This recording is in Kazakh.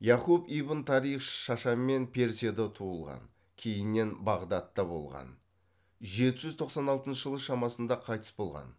яқұб ибн тарих шашамен персияда туылған кейіннен бағдатта болған жеті жүз тоқсан алтыншы жылы шамасында қайтыс болған